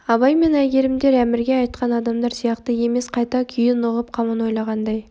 абай мен әйгерімдер әмірге айтқан адамдар сияқты емес қайта күйін ұғып қамын ойлағандай